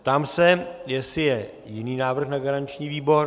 Ptám se, jestli je jiný návrh na garanční výbor.